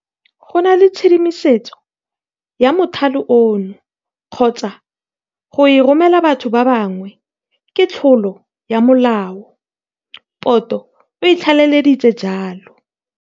Go nna le tshedimosetso ya mothale ono kgotsa gona go e romela batho ba bangwe ke tlolo ya molao, Poto o tlaleleditse jalo.